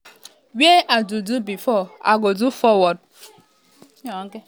wey i do do before i go do forward".